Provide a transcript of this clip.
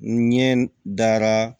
N ɲɛ dara